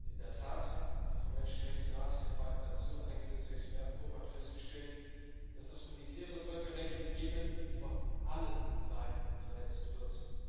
In der Tat, die vom Menschenrechtsrat der Vereinten Nationen eingesetzte Expertengruppe hat festgestellt, dass das humanitäre Völkerrecht im Jemen von allen Seiten verletzt wird.